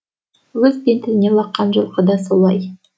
өз бетіне лаққан жылқы да солай